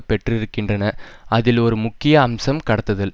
பெற்றிருக்கின்றன அதில் ஒரு முக்கிய அம்சம் கடத்துதல்